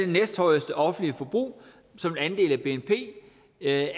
næsthøjeste offentlige forbrug som en andel af